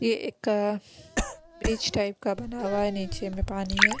ये एक bridge type का बना हुआ है नीचे में पानी है।